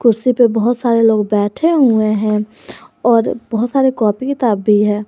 कुर्सी पे बहुत सारे लोग बैठे हुए हैं और बहुत सारे कॉपी किताब भी है।